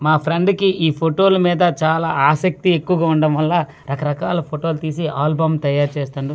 మా ఫ్రెండ్ కి ఈ ఫోటోల మీద చాలా ఆసక్తి ఎక్కువగా ఉండటం వల్ల రకరకాల ఫోటోలు తీసి ఆల్బమ్ తయారు చేస్తుండు.